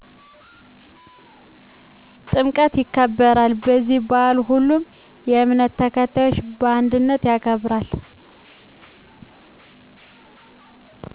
ጥምቀት ይከበራል በዚህ ባአል ሁሉም የእምነቱ ተከታይ በአንድነት ያከብራል